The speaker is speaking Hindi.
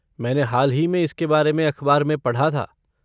मैंने हाल ही में इसके बारे में अखबार में पढ़ा था।